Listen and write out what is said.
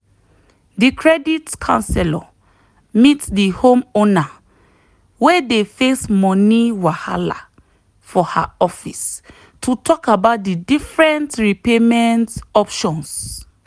the credit counselor meet the homeowner wey dey face money wahala for her office to talk about different repayment options.